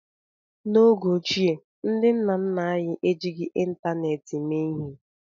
N'oge ochie, ndị nna nna anyị ejighị ịntanetị mee ihe